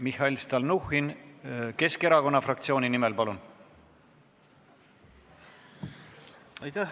Mihhail Stalnuhhin Keskerakonna fraktsiooni nimel, palun!